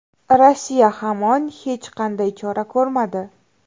Rossiya hamon hech qanday chora ko‘rmadi.